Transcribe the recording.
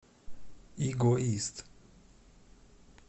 эгоист